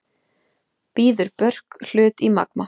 Býður Björk hlut í Magma